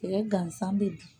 Sɛgɛn gansan bɛ dun